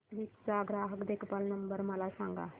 टाटा क्लिक चा ग्राहक देखभाल नंबर मला सांगा